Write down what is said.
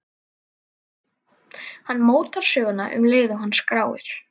Hann mótar söguna um leið og hann skráir.